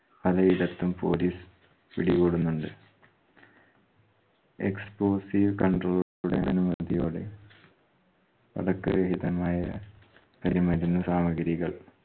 പലയിടത്തും police പിടികൂടുന്നുണ്ട്. ex controller ഉടെ അനുമതിയോടെ പടക്ക രഹിതമായ കരിമരുന്ന് സാമഗിരികൾ